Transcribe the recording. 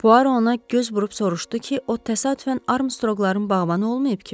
Puaro ona göz vurub soruşdu ki, o təsadüfən Armstroqların bağbanı olmayıb ki?